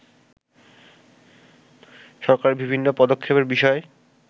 সরকারের বিভিন্ন পদক্ষেপের বিষয়